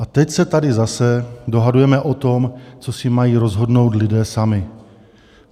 A teď se tady zase dohadujeme o tom, co si mají rozhodnout lidé sami.